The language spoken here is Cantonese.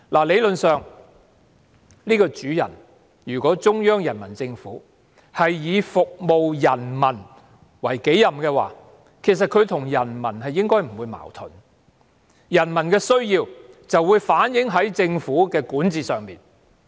理論上，如果中央人民政府以服務人民為己任，她與人民其實不應存在矛盾，因為人民的需要會反映在政府的管治上。